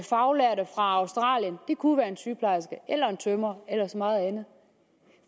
faglærte fra australien det kunne være en sygeplejerske eller en tømrer eller så meget andet